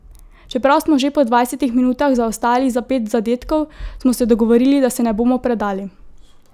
Čeprav smo že po dvajsetih minutah zaostajali za pet zadetkov, smo se dogovorili, da se ne bomo predali.